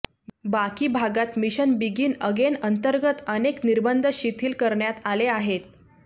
बाकी भागांत mission begin again अंतर्गत अनेक निर्बंध शिथील करण्यात आले आहेत